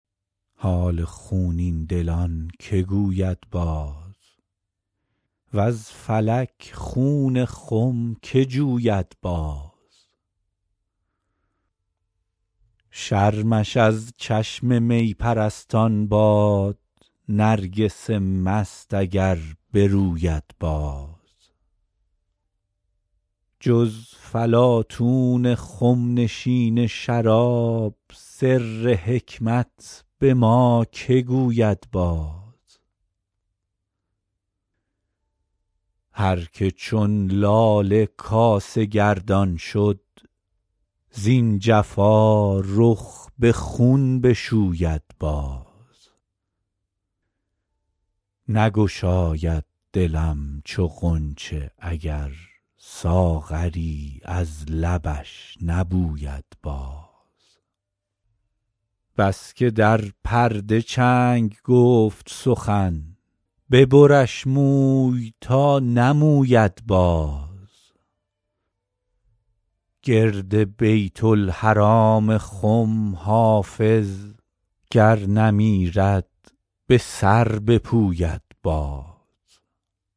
حال خونین دلان که گوید باز وز فلک خون خم که جوید باز شرمش از چشم می پرستان باد نرگس مست اگر بروید باز جز فلاطون خم نشین شراب سر حکمت به ما که گوید باز هر که چون لاله کاسه گردان شد زین جفا رخ به خون بشوید باز نگشاید دلم چو غنچه اگر ساغری از لبش نبوید باز بس که در پرده چنگ گفت سخن ببرش موی تا نموید باز گرد بیت الحرام خم حافظ گر نمیرد به سر بپوید باز